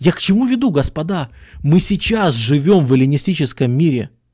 я к чему веду господа мы сейчас живём в эллинистическом мире